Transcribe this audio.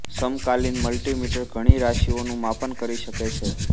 સમકાલીન મલ્ટિમીટર ઘણી રાશિઓનું માપન કરી શકે છે